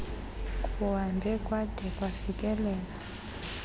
kuhambe kwada kwafikelela